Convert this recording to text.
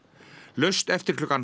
laust eftir klukkan